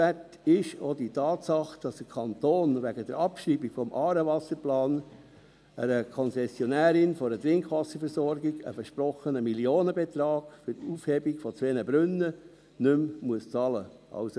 Erwähnenswert ist auch die Tatsache, dass der Kanton wegen der Abschreibung des Aarewasserplans einer Konzessionärin einer Trinkwasserversorgung einen versprochenen Millionenbetrag für die Aufhebung von zwei Brunnen nicht mehr bezahlen muss.